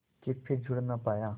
के फिर जुड़ ना पाया